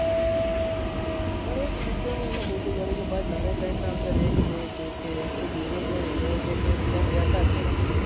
પણ એક ત્રણે ત્રણ ને અંદર એક ને એક એક ને એક બીજા કોઈ હીરો કે કોઈ બીજાને લેતા જ નથી.